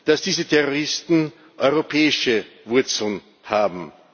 nehmen, dass diese Terroristen europäische Wurzeln